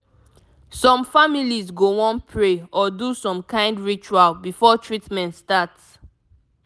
some families go wan pray or do some kind ritual before treatment start